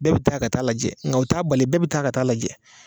Bɛɛ bɛ taa ka taa'a lajɛ ŋa o t'a bali bɛɛ bɛ taa ka taa'a lajɛ.